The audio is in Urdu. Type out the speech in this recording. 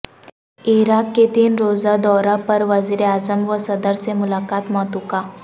عراق کے تین روزہ دورہ پر وزیراعظم و صدر سے ملاقات متوقع